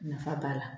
Nafa b'a la